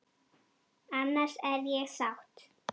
Annars er ég sátt!